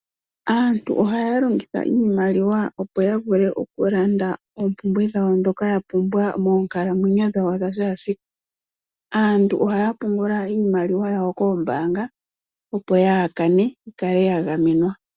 Aantu ohaya longitha iimaliwa opo ya vule oku landa oompumbwe dhawo ndhoka ya pumbwa moonkalamwenyo dhawo dha kehe esiku. Aantu ohaya pungula iimaliwa yawo koombaanga opo yaakane yikale ya gamenwa.